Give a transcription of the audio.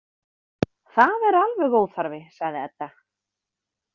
Það er alveg óþarfi, sagði Edda.